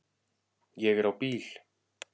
Ég er á bíl